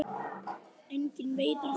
Enginn veit af hverju.